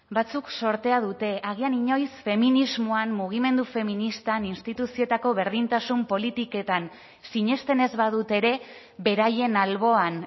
batzuk zortea dute agian inoiz feminismoan mugimendu feministan instituzioetako berdintasun politiketan sinesten ez badute ere beraien alboan